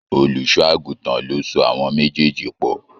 Olùṣọ́ àgùntàn ló so àwọn méjèèjì pọ̀